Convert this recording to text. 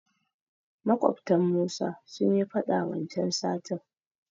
Maƙwabtan Musa sunyi faɗa wancan satin.